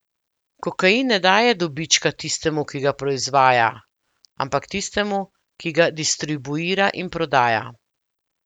Kokain ne daje dobička tistemu, ki ga proizvaja, ampak tistemu, ki ga distribuira in prodaja.